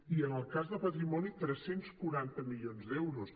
i en el cas de patrimoni tres cents i quaranta milions d’euros